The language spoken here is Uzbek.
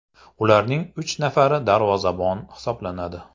Ularning uch nafari darvozabon hisoblanadi.